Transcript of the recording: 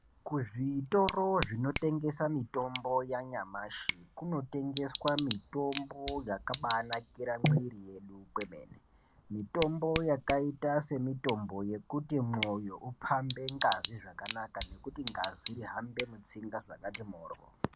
Kuzvitoro zvinotengesa mitombo yanyamashi kunotengeswa mitombo yakabanakira mwiri yedu kwemene. Mitombo yakaita semitombo yekuti mwoyo upambe ngazi zvakanaka nekuti ngazi ihambe mutsinga zvakati moryo.